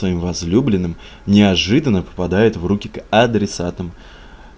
твоим возлюбленным неожиданно попадает в руки к адресатам